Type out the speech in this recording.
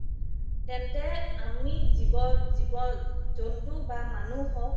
তেন্তে আমি জীৱ জন্তু বা মানুহ হওক